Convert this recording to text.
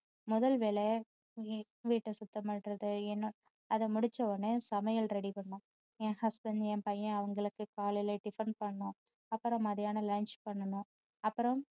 முதல் வேலை வீ~வீட்ட சுத்தம் பண்றது அதை முடிச்ச உடனே சமையல் ready பண்றது என் husband என் பையன் அவங்களுக்கு காலையில tiffin பண்ணணும் அப்பறம் மத்தியானம் lunch பண்ணனும் அப்பறம்